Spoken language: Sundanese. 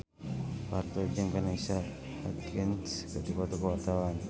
Parto jeung Vanessa Hudgens keur dipoto ku wartawan